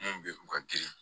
Mun bɛ u ka girin